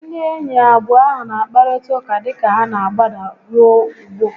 Ndị enyi abụọ ahu n'akparịta ụka dịka ha n'agbada ruo ugbo